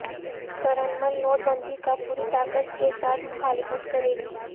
Trinamool note بندی کا پوری طاقت کے ساتھ مخالفت کرے گی